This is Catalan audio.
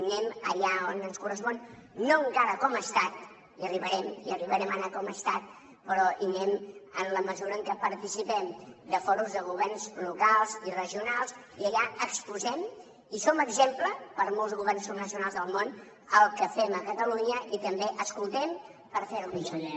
anem allà on ens correspon no encara com a estat hi arribarem hi arribarem a anar com a estat però hi anem en la mesura en què participem de fòrums de governs locals i regionals i allà exposem i som exemple per a molts governs subnacionals del món el que fem a catalunya i també escoltem per fer ho millor